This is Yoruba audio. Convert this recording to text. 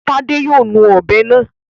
Tádé yóò nu ọ̀bẹ náà.